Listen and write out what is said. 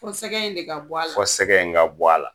Fɔ sɛgɛ in de ka bɔ a la. Fɔ sɛgɛ in de ka bɔ a la.